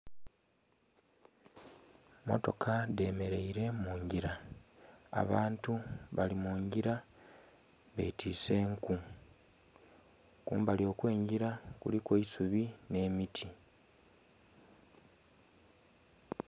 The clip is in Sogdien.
Emmotoka dhemeleile mu ngila. Abantu bali mu ngila betiise enku. Kumbali okw'engila kuliku eisubi nh'emiti.